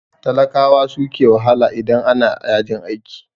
Talakawa suke wahala idan ana yajin aiki.